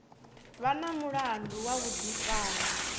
vha na mulandu wa vhuḓifari